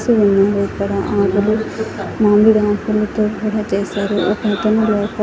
Flowers ఉన్నాయి ఇక్కడ. ఆకులు మామిడాకులతో కూడా చేస్తారు. ఒకతను లోప--